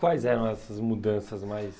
Quais eram essas mudanças mais...